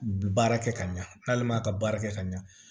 Baara kɛ ka ɲa n'ale ma ka baara kɛ ka ɲa